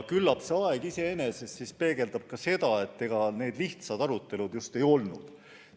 Küllap see aeg iseenesest peegeldab seda, et need arutelud ei olnud lihtsad.